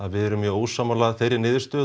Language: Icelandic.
við erum mjög ósammála þeirri niðurstöðu